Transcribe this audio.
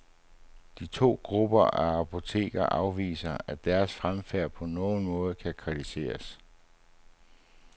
De to grupper af apoteker afviser, at deres fremfærd på nogen måde kan kritiseres.